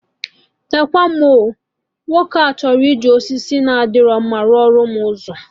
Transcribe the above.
Nekwa nụ mụ oo! Nwoke a ji osisi na adịro mma rụọ lụ m ụzọ